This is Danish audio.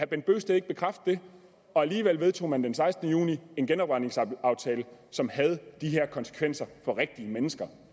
bent bøgsted ikke bekræfte det og alligevel vedtog man den sekstende juni en genopretningsaftale som havde de her konsekvenser for rigtige mennesker